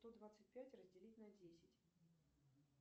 сто двадцать пять разделить на десять